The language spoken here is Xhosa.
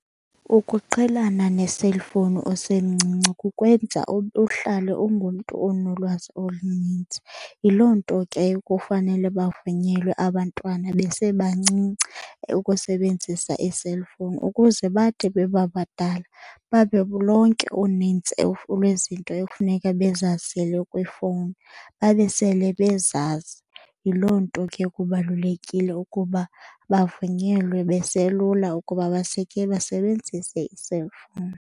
Ukuqhelana ne-cellphone usemncinci kukwenza uhlale ungumntu onolwazi olunintsi. Yiloo nto ke kufanele bavunyelwe abantwana besebancinci ukusebenzisa ii-cellphone ukuze bathi beba badala babe lonke unintsi lwezinto ekufuneka bezazile kwiifowuni babe sele bezazi. Yiloo nto ke kubalulekile ukuba bavunyelwe beselula ukuba basebenzise ii-cellphone.